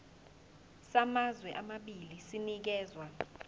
samazwe amabili sinikezwa